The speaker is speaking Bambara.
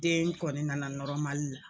Den kɔni nana la